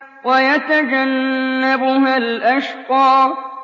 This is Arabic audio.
وَيَتَجَنَّبُهَا الْأَشْقَى